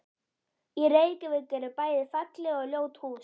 Í Reykjavík eru bæði falleg og ljót hús.